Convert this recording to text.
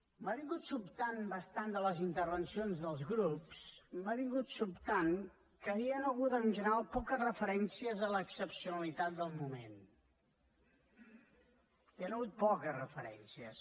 m’ha sobtat bastant de les intervencions dels grups m’ha sobtat que hi han hagut en general poques referències a l’excepcionalitat del moment hi han hagut poques referències